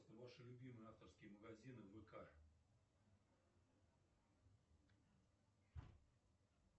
ваши любимые авторские магазины вк